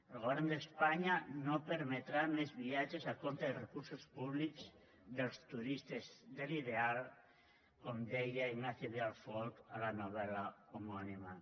el govern d’espanya no permetrà més viatges a compte de recursos públics dels turistes de l’ideal com deia ignacio vidal folch a la novel·la homònima